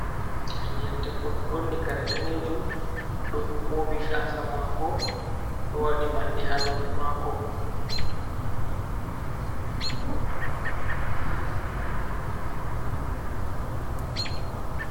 Ɓingel debbo ɗo ɓorni kare danejum do moɓi gasa mako do wadi manne ha noppi mako.